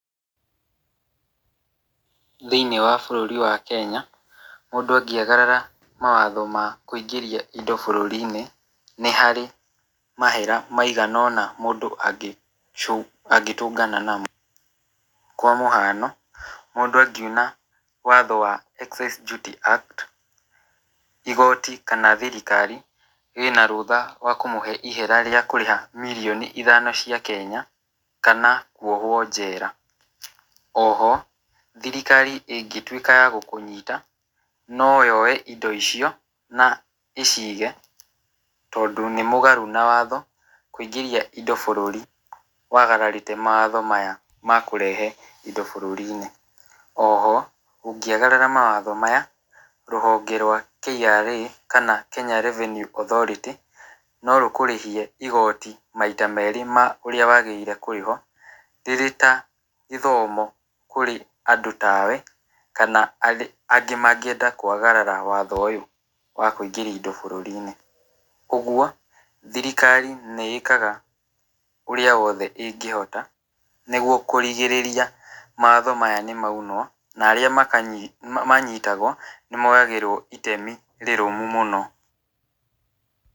Thĩiniĩ wa bũrũri wa Kenya, mũndũ angĩagarara mawatho ma kũingĩria indo bũrũri-inĩ, nĩ hari mahera maigana ona mũndũ angĩcũ mũndũ angĩtũngana namo, kwa mũhano mũndũ angĩuna watho excess duty act, igoti kana thirikari, rĩna rũtha wa kũmũhe ihera rĩa kũrĩha mirioni ithano cia kenya, kana kwohwo njera, oho thirikari ĩngĩtwĩka ya gũkũnyita no yoe indo icio na ĩcige, tondũ nĩ mũgarũ na watho kũingĩria indo bũrũri wagararĩte mawatho maya makũrehe indo bũrũri-inĩ ,oho ũngĩagarara mawatho maya rũhonge rwa KRA kana kana Kenya Revenue Authority, nĩ rĩkũrĩhia igoti maita merĩ ma ũrĩa wagĩrĩire nĩ kũrĩha , rĩrĩ ta gĩthomo kũrĩ andũ tawe, kana angĩ mangĩenda kwagarara watho ũyũ wa kũingĩria indo bũrũri-inĩ ,ũgwo thirikari nĩ ĩkaga ũrĩa yothe ĩngĩhota, nĩgwo kũrigĩrĩria mawatho maya nĩmaunwo na arĩa makanyi manyitagwo, nĩ moyagĩrwo itemi rĩrũmu mũno.